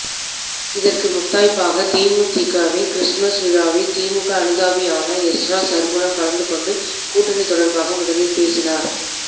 இதற்கு முத்தாய்ப்பாக தேமுதிகவின் கிறிஸ்துமஸ் விழாவில் திமுக அனுதாபியான எஸ்றா சற்குணம் கலந்து கொண்டு கூட்டணி தொடர்பாக முதலில் பேசினார்